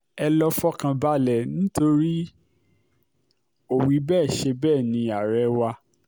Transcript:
ẹ lọ́ọ́ fọkàn balẹ̀ nítorí ò-wí-bẹ́ẹ̀ ṣe bẹ́ẹ̀ ní àárẹ̀ wà